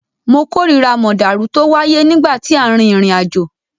Mo kórira mọ̀dàrú tó wáyé nígbà tí à ń rin ìrìnàjò.